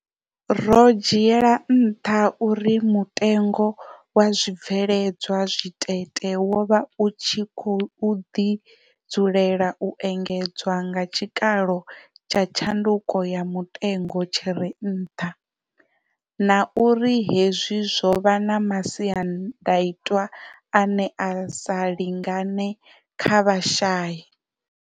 Ro dzhiela nṱha uri mutengo wa zwi bveledzwa zwitete wo vha u khou ḓi dzulela u engedzwa nga tshikalo tsha tshanduko ya mutengo tshi re nṱha, na uri hezwi zwo vha na masiandaitwa ane a sa lingane kha vhashayi.